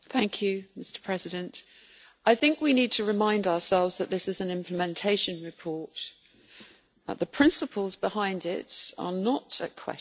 Mr President, I think we need to remind ourselves that this is an implementation report and that the principles behind it are not at question.